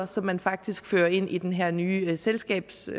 som man faktisk fører ind i den her nye selskabsform